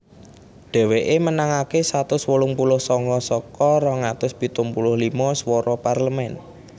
Dhèwèké menangaké satus wolung puluh sanga saka rong atus pitung puluh limo swara Parlemen